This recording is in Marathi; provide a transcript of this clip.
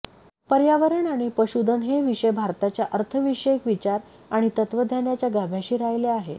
पर्यावरण आणि पशुधन हे विषय भारताच्या अर्थविषयक विचार आणि तत्वज्ञानाच्या गाभ्याशी राहिले आहेत